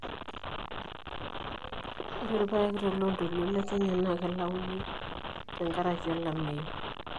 ore irpaek toloontoluo le kenya naa keilauni oleng te nkaraki olameyu